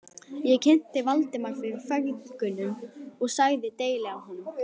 Ég kynnti Valdimar fyrir feðgunum og sagði deili á honum.